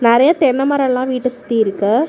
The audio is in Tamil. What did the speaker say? நெறய தென்ன மரம் எல்லா வீட்ட சுத்தி இருக்கு.